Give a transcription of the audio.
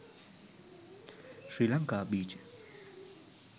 sri lanka beach